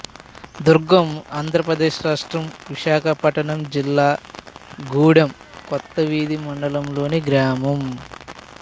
దుర్గం ఆంధ్ర ప్రదేశ్ రాష్ట్రం విశాఖపట్నం జిల్లా గూడెం కొత్తవీధి మండలం లోని గ్రామం